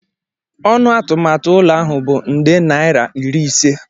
Ọnụ atụmatụ ụlọ ahụ bụ nde naira iri ise.